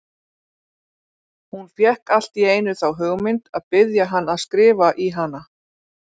Hún fékk allt í einu þá hugmynd að biðja hann að skrifa í hana!